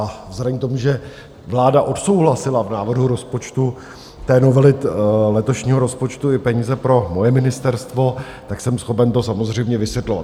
A vzhledem k tomu, že vláda odsouhlasila v návrhu rozpočtu, té novely, letošního rozpočtu i peníze pro moje ministerstvo, tak jsem schopen to samozřejmě vysvětlovat.